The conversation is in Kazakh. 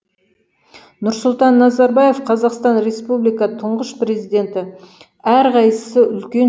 нұрсұлтан назарбаев қазақстан республикасының тұңғыш президенті әр қайсысы үлкен